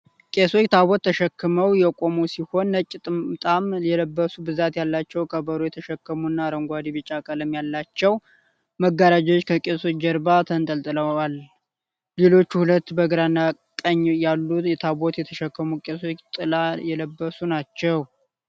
ቄሶች ታቦት ተሸክመው የቆሙ ሲሆን ነጭ ጥምጣም የለበሡ ብዛት ያላቸው ከበሮ የተሸክሙና አረንጓዴ ቢጫ ቀለም ያላቸው መጋረዎች ከቄሶች ጀርባ ተንጠልጥሎል::ሌሎች ሁለት በግራና ቀኝ ያሉ ታቦት የተሸከሙ ቄሶች ጥላ የለበሱ ናቸው::